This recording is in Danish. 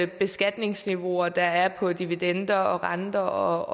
beskatningsniveauer der er på dividender og renter